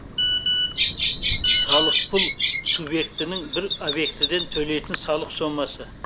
салықпұл субъектінің бір объектіден төлейтін салық сомасы